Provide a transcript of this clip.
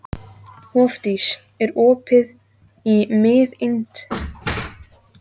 Hofdís, er opið í Miðeind?